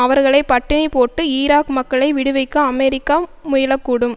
அவர்களை பட்டினி போட்டு ஈராக் மக்களை விடுவிக்க அமெரிக்கா முயல கூடும்